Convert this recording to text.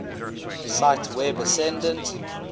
cite web accessdate